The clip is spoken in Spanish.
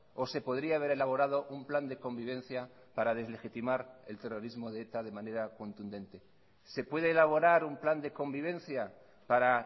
o se podría haber elaborado un plan de convivencia para deslegitimar el terrorismo de eta de manera contundente se puede elaborar un plan de convivencia para